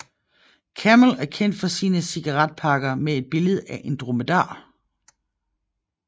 Camel er kendt for sine cigaretpakker med et billede af en dromedar